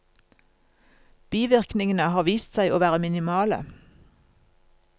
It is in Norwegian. Bivirkningene har vist seg å være minimale.